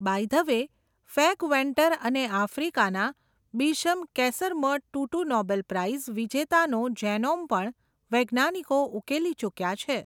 By the way, ફૅગ Venter અને આફ્રિકાનાં bishop Desmond Tutu Nobel prize વિજેતાનો જેનોમ પણ, વૈજ્ઞાનિકો ઉકેલી ચુક્યાં છે.